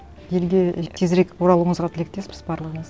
елге тезірек оралуыңызға тілектеспіз барлығымыз